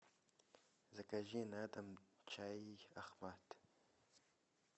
закажи на дом чай ахмад